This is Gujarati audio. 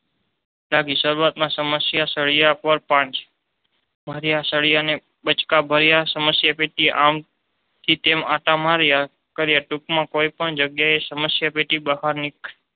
ત્યાગી. શરૂઆતમાં સમસ્યા સળિયા પર પાંચ સરિયાને બચકા ભર્યા સમસ્યા પૈકી આમ થી તેમ આતા માર્યા કાર્ય ટૂંકમાં કોઈ પણ જગ્યાએ સમસ્યા પેટી બહાર